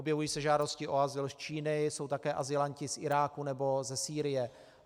Objevují se žádosti o azyl z Číny, jsou také azylanti z Iráku nebo ze Sýrie.